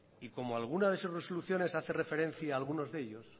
y como alguna de sus resoluciones hace referencia a algunos de ellos